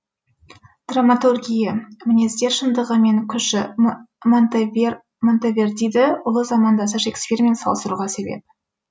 драматургия мінездер шындығы мен күші монтевердиді ұлы замандасы шекспирмен салыстыруға себеп